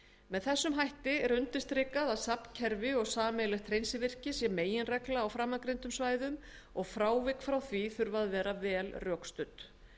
með þessum hætti er undirstrikað að safnkerfi og sameiginlegt hreinsivirki sé meginregla á framangreindum svæðum og frávik frá því þurfa að vera vel rökstudd